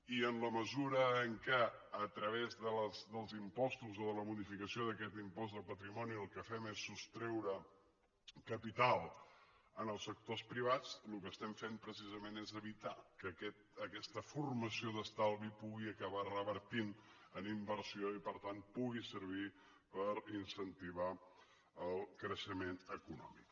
i en la mesura que a través dels impostos o de la modificació d’aquest impost de patrimoni el que fem és sostreure capital als sectors privats el que fem precisament és evitar que aquesta formació d’estalvi pugui acabar revertint en inversió i per tant pugui servir per incentivar el creixement econòmic